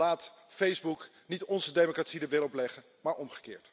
Want laat Facebook niet onze democratie zijn wil opleggen, maar omgekeerd.